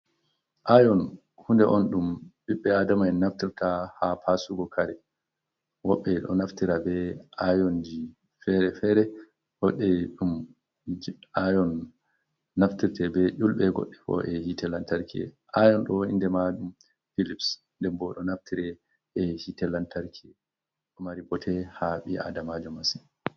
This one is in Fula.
Ayon hunɗe on ɗum ɓiɓbe adama'en naftirta ha pasugo kare. Woɓɓe ɗo naftira be ayonji fere-fere goɗɗo ayon naftirta be ulbe goɗɗe koe hite lantarki. Ayon do inɗe madum pilips ɗenbo ɗo naftira e hite lantarki. Ɗomari bote ha bi’aɗamajo masen.